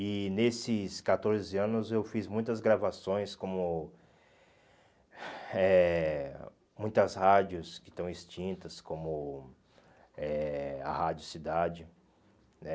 E nesses catorze anos eu fiz muitas gravações como eh muitas rádios que estão extintas, como eh a Rádio Cidade, né?